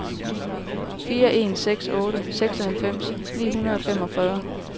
fire en seks otte seksoghalvfems ni hundrede og femogfyrre